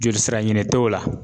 Jolisira ɲini t'o la.